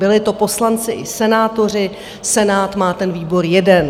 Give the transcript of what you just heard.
Byli to poslanci i senátoři, Senát má ten výbor jeden.